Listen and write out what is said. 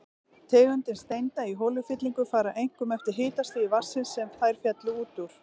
Tegundir steinda í holufyllingum fara einkum eftir hitastigi vatnsins, sem þær féllu út úr.